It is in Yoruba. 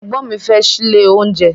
Ẹ̀gbọ́n mi fẹ́ ṣílé oúnjẹ.